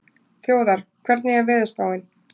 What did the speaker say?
Þjóðar, hvernig er veðurspáin?